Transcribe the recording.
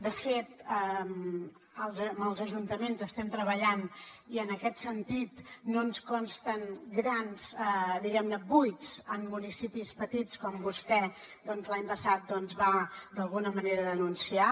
de fet amb els ajuntaments estem treballant i en aquest sentit no ens consten grans diguem ne buits en municipis petits com vostè doncs l’any passat va d’alguna manera denunciar